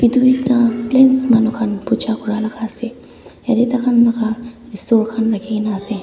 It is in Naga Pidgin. duita plains manukhan puja kora laga ase yate tai khan laga eshor khan rakhi ke na ase.